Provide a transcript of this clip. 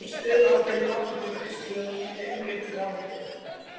Þá er stöðuorkan í vatninu beisluð og henni umbreytt í raforku.